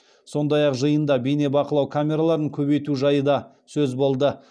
сондай ақ жиында бейнебақылау камераларын көбейту жайы да сөз болды